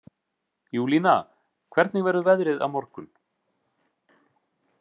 Júlína, hvernig verður veðrið á morgun?